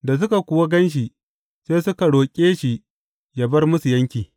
Da suka kuwa gan shi, sai suka roƙe shi yă bar musu yanki.